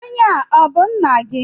Onye a ọ bú nna gị?